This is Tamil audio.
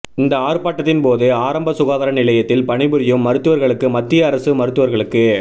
இந்த ஆர்ப்பாட்டத்தின்போது ஆரம்ப சுகாதார நிலையத்தில் பணிபுரியும் மருத்துவர்களுக்கு மத்திய அரசு மருத்துவர்களுக்கு